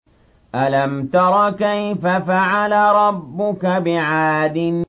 أَلَمْ تَرَ كَيْفَ فَعَلَ رَبُّكَ بِعَادٍ